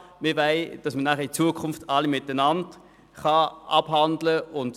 Wir wollen, dass man in Zukunft alle Kredite miteinander abhandeln kann.